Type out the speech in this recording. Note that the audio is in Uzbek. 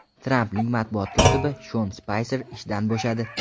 Trampning matbuot kotibi Shon Spayser ishdan bo‘shadi.